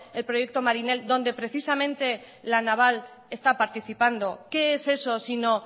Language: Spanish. el proyecto marin el donde precisamente la naval está participando qué es eso sino